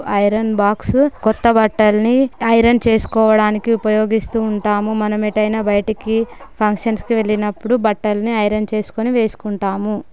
Iron box కొత్త బట్టల్ని iron చేసుకోవడానికి ఉపయోగిస్తూ ఉంటాము మనం ఎటైన బయటికి ఫంక్షన్స్ కి వెళ్ళినప్పుడు బట్టల్ని ఐరన్ చేసుకొని వేసుకుంటాము.